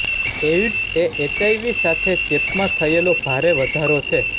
AIDS એ HIV સાથે ચેપ માં થયેલો ભારે વધારો છે